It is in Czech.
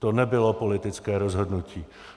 To nebylo politické rozhodnutí.